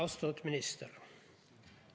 Austatud minister!